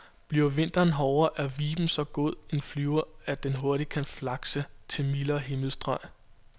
Bliver vinteren hårdere, er viben så god en flyver, at den hurtigt kan flakse til mildere himmelstrøg.